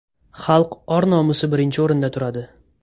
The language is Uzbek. Xalq or-nomusi birinchi o‘rinda turadi.